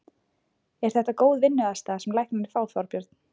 Er þetta góð vinnuaðstaða sem læknarnir fá, Þorbjörn?